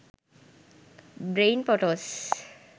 brain photos